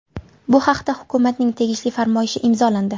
Bu haqda hukumatning tegishli farmoyishi imzolandi.